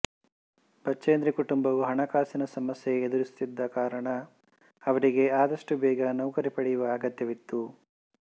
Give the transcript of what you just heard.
ಬಚೇಂದ್ರಿ ಕುಟುಂಬವು ಹಣಕಾಸಿನ ಸಮಸ್ಯೆ ಎದುರಿಸುತ್ತಿದ್ದ ಕಾರಣ ಅವರಿಗೆ ಆದಷ್ಟು ಬೇಗ ನೌಕರಿ ಪಡೆಯುವ ಅಗತ್ಯವಿತ್ತು